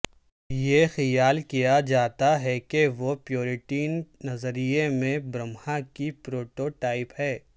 یہ خیال کیا جاتا ہے کہ وہ پیوریٹن نظریے میں برہما کی پروٹوٹائپ ہے